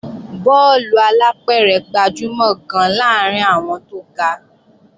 Bọ́ọ̀lù alápẹ̀rẹ̀ gbajúmọ̀ gan-an láàrín àwọn tó ga